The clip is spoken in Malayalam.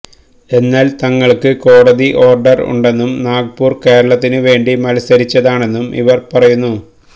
എന്നാല് തങ്ങള്ക്ക് കോടതി ഓര്ഡര് ഉണ്ടെന്നും നാഗ്പൂര് കേരളത്തിന് വേണ്ടി മത്സരിച്ചതാണെന്നും ഇവര് പറയുന്നു